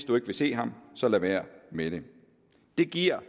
man vil se ham så lad være med det det giver